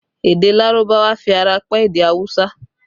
Èdè Lárúbáwá fi ara pẹ́ èdè awusa